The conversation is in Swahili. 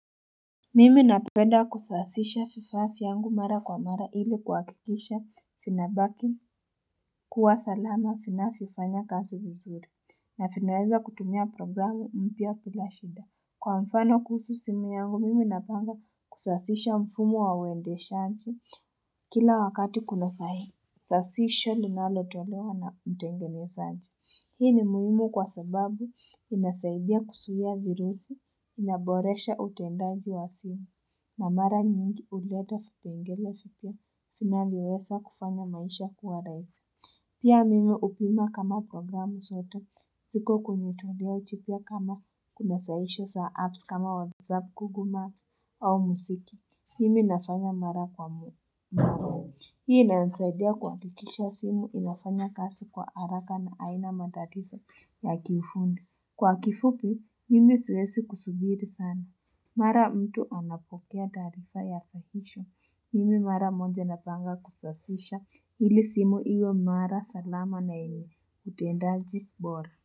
Mimi napenda kusasisha fifafi vyangu mara kwa mara ili kuakikisha finabaki kuwa salama finafifanya kasi vizuri na finaweza kutumia programu mpya bila shida Kwa mfano kuhusu simu yangu mimi napanga kusasisha mfumo wa wendeshaji kila wakati kuna sahi sasisho linalo tolewa na mtengenezaji. Hii ni muhimu kwa sababu inasaidia kusuwiya virusi, inaboresha utendaji wa simu. Na mara nyingi uleta fipengele fipya, finavyowesa kufanya maisha kuwa rahisi. Pia mimi hupima kama programu sote, ziko kwenye toleyo jipya kama kuna sasisho za apps kama whatsApp Google Maps au musiki. Mimi nafanya mara kwa. Hii inasaidia kwa kikisha simu inafanya kasi kwa haraka na aina matatiso ya kiufundi. Kwa kifupi, mimi siwesi kusubiri sana. Mara mtu anapokea tarifa ya sahisho. Mimi mara moja napanga kusasisha. Hili simu iwe mara salama na yenye. Utendaji bora.